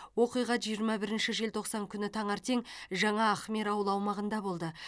оқиға жиырма бірінші желтоқсан күні таңертең жаңа ахмер ауылы аумағында болды